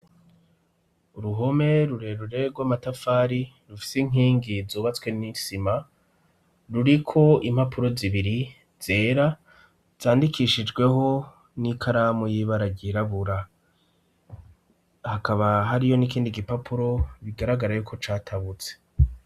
Uruhome rurerure rw'amatafari rufise inkingi zubatswe n'isima ruriko impapuro zibiri zera zandikishijweho n'ikaramu y'ibara ryirabura, hakaba hariyo n'ikindi gipapuro bigaragara yuko catabutse.